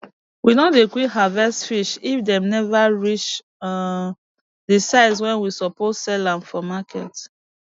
we no dey quick harvest fish if dem never reach um d size wey we suppose sell am for market